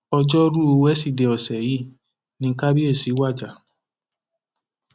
ọjọrùú wednesday ọsẹ yìí ni kábíyèsí wajà